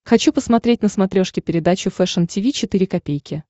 хочу посмотреть на смотрешке передачу фэшн ти ви четыре ка